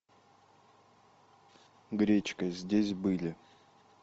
гречка здесь были